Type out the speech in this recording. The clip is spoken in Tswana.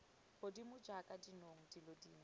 godimo jaaka dinong dilo dingwe